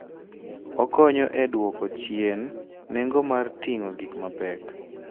Okonyo e dwoko chien nengo mar ting'o gik mapek.